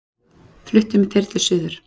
Fluttur með þyrlu suður